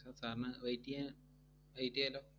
Sir, sir ന് wait എയ്യാ~ wait എയ്യാലോ